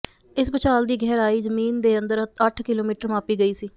ਇਸ ਭੂਚਾਲ ਦੀ ਗਹਿਰਾਈ ਜ਼ਮੀਨ ਦੇ ਅੰਦਰ ਅੱਠ ਕਿਲੋਮੀਟਰ ਮਾਪੀ ਗਈ ਸੀ